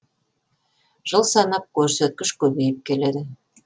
жыл санап көрсеткіш көбейіп келеді